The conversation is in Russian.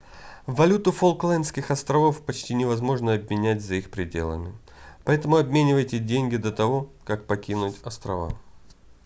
валюту фолклендских островов почти невозможно обменять за их пределами поэтому обменивайте деньги до того как покинуть острова